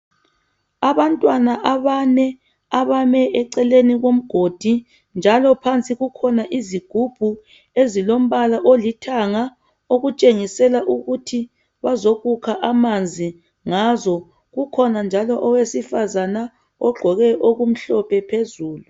Abantwana abame eceleni komgodi njalo phansi kukhona izigubhu ezilombala olithanga okutshengisela ukuthi bazokukha amanzi ngazo kukhona njalo owesifazana ogqoke okumhlophe phezulu.